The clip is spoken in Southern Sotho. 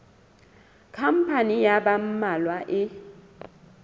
khampani ya ba mmalwa e